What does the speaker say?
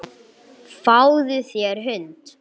Fáðu þér hund.